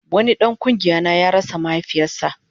Wani dan kungiya na ya rasa mahaifinsa